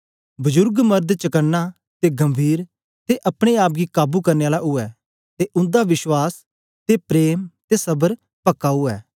बजुर्ग मर्द चकना ते गंभीर ते अपने आप गी काबू करने आला उवै ते उंदा विश्वास ते प्रेम ते सबर पक्का उवै